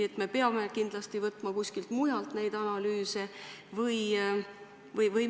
Miks me peame neid analüüse kuskilt mujalt võtma?